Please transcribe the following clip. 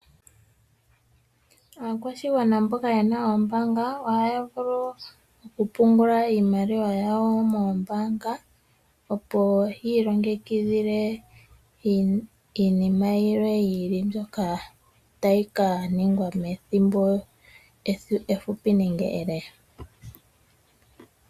Aakwashigwana mboka yena oombaanga, ohaya vulu okupungula iimaliwa yawo moombaanga, opo yiilongekidhile iinima yilwe yi ili mbyoka tayi kaningwa methimbo efupi nenge ele.